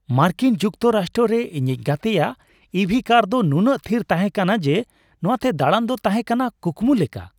ᱢᱟᱨᱠᱤᱱ ᱡᱩᱠᱛᱚᱨᱟᱥᱴᱨᱚ ᱨᱮ ᱤᱧᱤᱡ ᱜᱟᱛᱮᱭᱟᱜ ᱤᱵᱷᱤ ᱠᱟᱨ ᱫᱚ ᱱᱩᱱᱟᱹᱜ ᱛᱷᱤᱨ ᱛᱟᱦᱮᱸ ᱠᱟᱱᱟ ᱡᱮ ᱱᱚᱶᱟᱛᱮ ᱫᱟᱲᱟᱱ ᱫᱚ ᱛᱟᱦᱮᱸ ᱠᱟᱱᱟ ᱠᱩᱠᱢᱩ ᱞᱮᱠᱟ ᱾